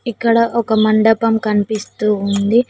ఇక్కడ ఒక మండపం కనిపిస్తూ ఉంది.